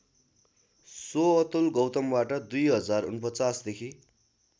स्वअतुल गौतमबाट २०४९देखि